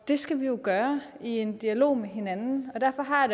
det skal vi jo gøre i en dialog med hinanden og derfor har